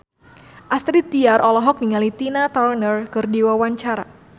Astrid Tiar olohok ningali Tina Turner keur diwawancara